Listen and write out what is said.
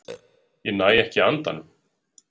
Ég næ ekki andanum.